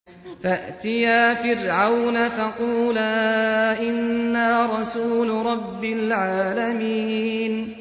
فَأْتِيَا فِرْعَوْنَ فَقُولَا إِنَّا رَسُولُ رَبِّ الْعَالَمِينَ